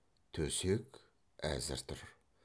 төсек әзір тұр